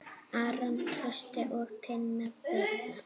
Aron Trausti og Tinna Birna.